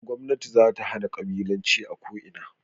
Gwamnati zata hana ƙabilanci a ko ina